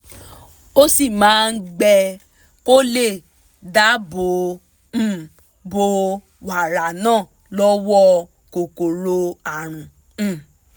ó sì máa gbẹ kó lè dáàbò um bo wàrà náà lọ́wọ́ kòkòrò àrùn um